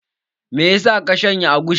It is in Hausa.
Me ya sa ka shanya agushi?